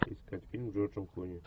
искать фильм с джорджем клуни